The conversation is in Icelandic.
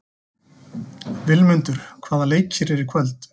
Vilmundur, hvaða leikir eru í kvöld?